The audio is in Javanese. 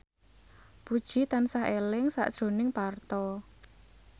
Puji tansah eling sakjroning Parto